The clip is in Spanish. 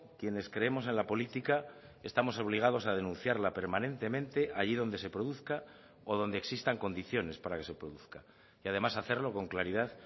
quienes creemos en la política estamos obligados a denunciar la permanentemente allí donde se produzca o donde existan condiciones para que se produzca y además hacerlo con claridad